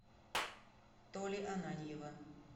толи ананьева